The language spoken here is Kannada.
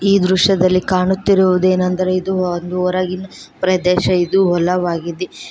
ಈ ದೃಶ್ಯದಲ್ಲಿ ಕಾಣುತ್ತಿರುವುದೇನೆಂದರೆ ಇದು ದೂರಗಿದ್ ಪ್ರದೇಶ ಇದು ಹೊಲವಾಗಿದೆ.